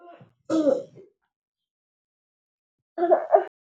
Lefapha la Thuto le agile sekôlô se se pôtlana fa thoko ga tsela.